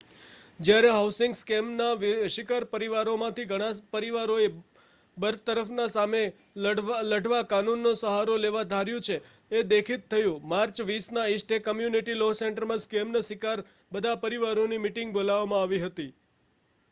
જયારે હાઉસિંગ સ્કેમના શિકાર પરિવારોમાંથી ઘણા પરિવારોએ બરતરફના સામે લઢવા કાનૂન નો સહારો લેવા ધાર્યું છે એ દેખિત થયુ માર્ચ 20ના ઇસ્ટ બે કમ્યુનિટી લૉ સેન્ટરમાં સ્કેમ ના શિકાર બધા પરિવારોની મિટિંગ બોલાવામાં આવી હતી